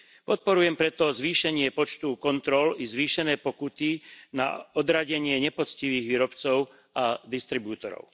Podporujem preto zvýšenie počtu kontrol i zvýšené pokuty na odradenie nepoctivých výrobcov a distribútorov.